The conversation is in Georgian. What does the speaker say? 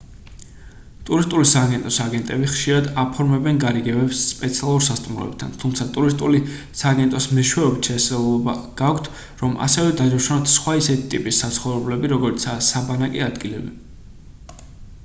ტურისტული სააგენტოს აგენტები ხშირად აფორმებენ გარიგებებს სპეციალურ სასტუმროებთან თუმცა ტურისტული სააგენტოს მეშვეობით შესაძლებლობა გაქვთ რომ ასევე დაჯავშნოთ სხვა ისეთი ტიპის საცხოვრებლები როგორიცაა საბანაკე ადგილები